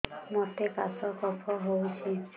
ମୋତେ କାଶ କଫ ହଉଚି